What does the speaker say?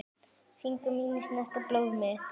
Fingur mínir snerta blóð þitt.